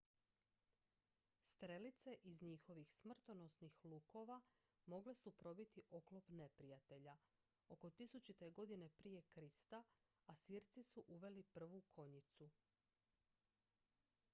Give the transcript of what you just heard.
strelice iz njihovih smrtonosnih lukova mogle su probiti oklop neprijatelja oko 1000. g pr kr asirci su uveli prvu konjicu